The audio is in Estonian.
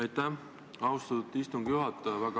Aitäh, austatud istungi juhataja!